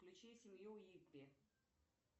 включи семью уиппи